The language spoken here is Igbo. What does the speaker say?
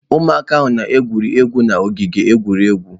Ụmụaka na-egwuri egwu n'ogige egwuregwu.